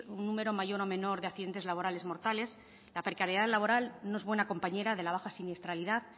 un número mayor o menor de accidentes laborales mortales la precariedad laboral no es buena compañera de la baja siniestralidad